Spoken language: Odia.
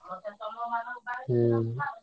ହୁଁ।